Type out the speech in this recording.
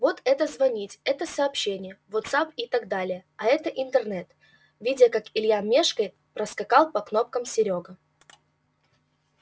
вот это звонить это сообщения вотсапп и так далее а это интернет видя как илья мешкает проскакал по кнопкам серёга